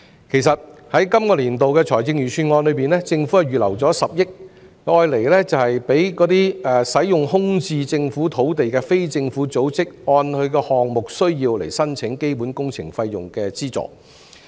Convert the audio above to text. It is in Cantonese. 其實，在今個年度的財政預算案中，政府預留了10億元讓使用空置政府土地的非政府組織按項目需要申請基本工程費用的資助。